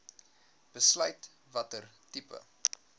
besluit watter tipe